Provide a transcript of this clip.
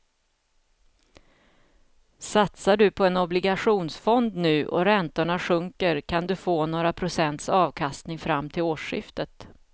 Satsar du på en obligationsfond nu och räntorna sjunker kan du få några procents avkastning fram till årsskiftet.